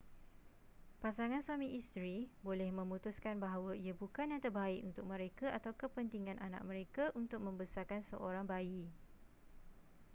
pasangan suami isteri boleh memutuskan bahawa ia bukan yang terbaik untuk mereka atau kepentingan anak mereka untuk membesarkan seorang bayi